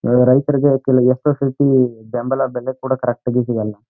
ರೈತರಗೆ ಕೇಳುವ ಬೆಂಬಲ ಬೆಲೆ ಕೂಡ ಕರೆಕ್ಟ್ ಸಿಗಲ್ಲ.